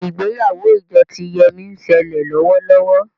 ìgbéyàwó ìjọ tí Yemi ń ṣẹlẹ lówó lówó